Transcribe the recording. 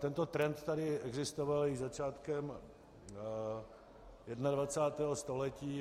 Tento trend tady existoval již začátkem 21. století.